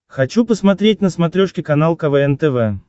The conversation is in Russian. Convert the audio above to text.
хочу посмотреть на смотрешке канал квн тв